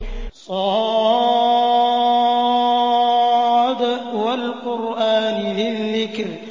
ص ۚ وَالْقُرْآنِ ذِي الذِّكْرِ